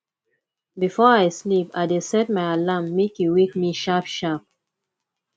before i sleep i dey set my alarm make e wake me sharpsharp